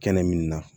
Kɛnɛ min na